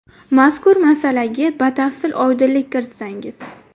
Mazkur masalaga batafsil oydinlik kiritsangiz?